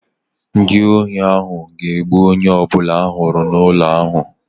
Ndị ohi ahụ ga-egbu onye ọbụla ha hụrụ n'ụlọ ahụ